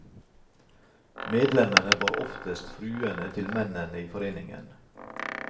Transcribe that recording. Medlemmene var oftest fruene til mennene i foreningen.